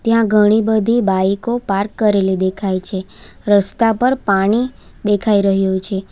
ત્યાં ઘણી બધી બાઈકો પાર્ક કરેલી દેખાય છે રસ્તા પર પાણી દેખાઈ રહ્યુ છે.